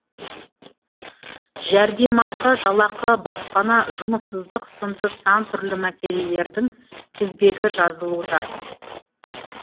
жәрдемақы жалақы баспана жұмыссыздық сынды сан түрлі мәселелердің тізбегі жазылуда